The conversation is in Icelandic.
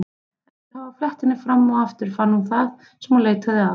Eftir að hafa flett henni fram og aftur fann hún það sem hún leitaði að.